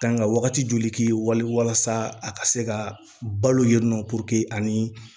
Kan ka wagati joli k'i ye wali walasa a ka se ka balo yen nɔ ani